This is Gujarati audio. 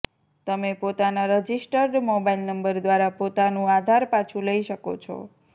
તમે પોતાના રજિસ્ટર્ડ મોબાઇલ નંબર દ્વારા પોતાનુ આધાર પાછુ લઇ શકો છો